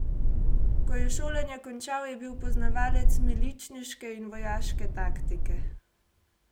Ko je šolanje končal, je bil poznavalec miličniške in vojaške taktike.